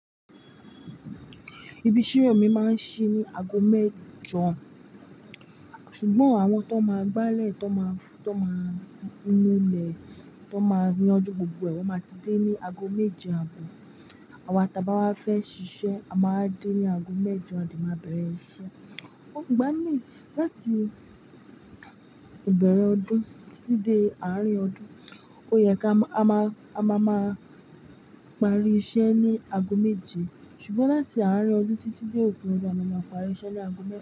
Ibi ìṣirò mi máa ń ṣí ní ago mẹ́jọ, ṣùgbọ́n àwọn tó máa gbálẹ̀, tó máa, tó máa núlé, tó máa yanju gbogbo ẹ̀, wọ́n máa ti dé ní ago méje àbò. Àwa ta bá wá fẹ́ ṣiṣẹ́, a máa wa dé ní ago mẹ́jọ a dè má bẹ̀rẹ̀ iṣẹ́. Ò ń gbani láti ìbẹ̀rẹ̀ ọdún títí dé àárín ọdún, ó yẹ ká a má, a má, a má máa parí iṣẹ́ ní ago méje. Ṣùgbọ́n láti àárín ọdún títí dé òpin ọdún, a máa parí iṣẹ́ ní ago mẹ́.